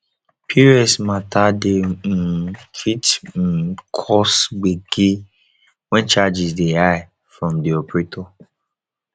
pos mata dey um fit um cause gbege when charges dey high from di operator